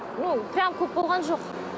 ну прямо көп болған жоқ